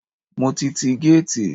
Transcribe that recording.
Mo ti tí géètì.